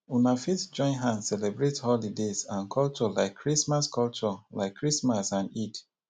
una fit join hand celebrate holidays and culture like christmas culture like christmas and eid